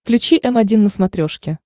включи м один на смотрешке